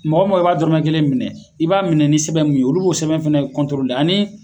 Mɔgɔ i b'a dɔrɔnmɛ kelen minɛ i b'a minɛ ni sɛbɛn min ye olu b'o sɛbɛn fɛnɛ kɔntorole ani